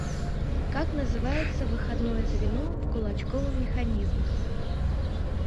как называется выходное звено в кулачковом механизме